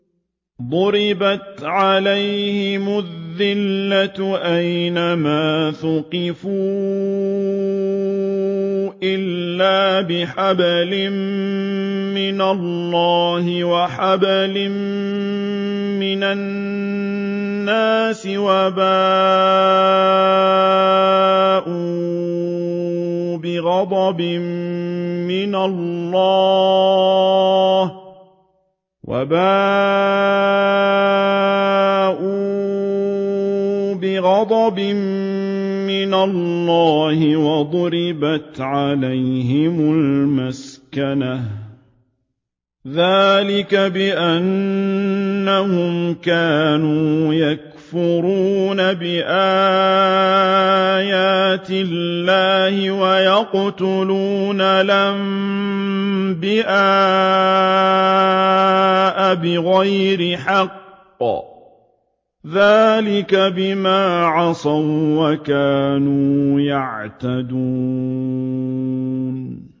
ضُرِبَتْ عَلَيْهِمُ الذِّلَّةُ أَيْنَ مَا ثُقِفُوا إِلَّا بِحَبْلٍ مِّنَ اللَّهِ وَحَبْلٍ مِّنَ النَّاسِ وَبَاءُوا بِغَضَبٍ مِّنَ اللَّهِ وَضُرِبَتْ عَلَيْهِمُ الْمَسْكَنَةُ ۚ ذَٰلِكَ بِأَنَّهُمْ كَانُوا يَكْفُرُونَ بِآيَاتِ اللَّهِ وَيَقْتُلُونَ الْأَنبِيَاءَ بِغَيْرِ حَقٍّ ۚ ذَٰلِكَ بِمَا عَصَوا وَّكَانُوا يَعْتَدُونَ